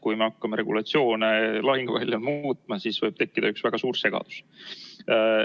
Kui me hakkame regulatsioone lahinguväljal muutma, siis võib tekkida üks väga suur segadus.